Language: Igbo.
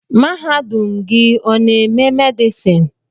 Mahadum gị ọ n'eme medison?